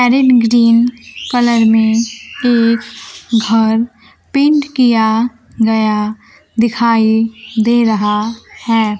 Green colour में एक घर पेंट किया गया दिखाई दे रहा है।